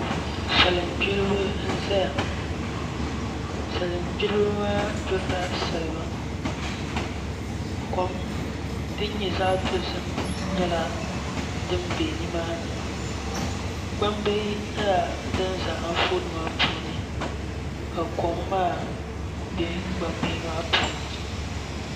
Salin gbiribi n ʒɛya salin gbiribi maa gbirila salima kom din nyɛ zaɣ dozim nyɛla din bɛ nimaani gbambihi nyɛla din ʒɛ Anfooni maa puuni ka kom maa bɛ gbambihi maa puuni